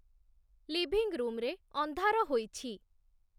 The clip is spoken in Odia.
ଲିଭିଂ ରୁମ୍‌ରେ ଅନ୍ଧାର ହୋଇଛି